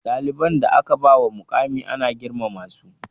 Ɗaliban da aka bawa muƙamai ana girmama su